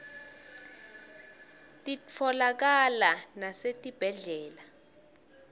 titfolakala nasetibhedlela